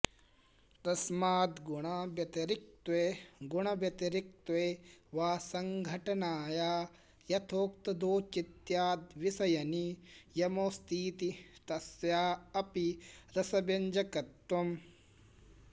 तस्माद्गुणाव्यतिरिक्तत्वे गुणव्यतिरिक्तत्वे वा सङ्घटनाया यथोक्तादौचित्याद्विषयनियमोऽस्तीति तस्या अपि रसव्यञ्जकत्वम्